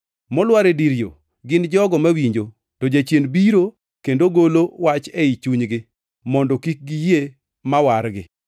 Molwar e dir yo gin jogo mawinjo, to jachien biro kendo golo wach ei chunygi, mondo kik giyie ma wargi.